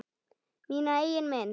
Mína eigin mynd.